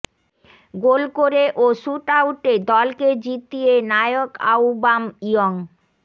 গোল করে ও শ্যুট আউটে দলকে জিতিয়ে নায়ক আউবামইয়ং